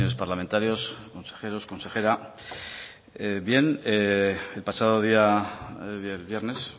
parlamentarios consejeros consejera bien el pasado día viernes